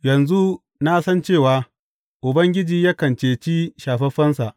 Yanzu na san cewa, Ubangiji yakan cece shafaffensa.